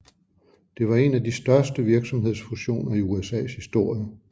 Det var en af de største virksomhedsfusioner i USAs historie